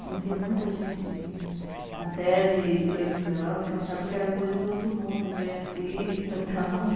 Conhecia muita gente até de televisão, que eu achava que era coisa do outro mundo, ver artista e tal